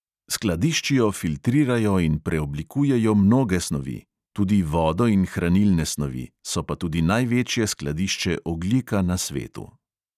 Skladiščijo, filtrirajo in preoblikujejo mnoge snovi, tudi vodo in hranilne snovi, so pa tudi največje skladišče ogljika na svetu.